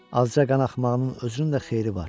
Azca qanaxmağının özünün də xeyri var.